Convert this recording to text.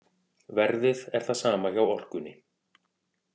Verðið er það sama hjá Orkunni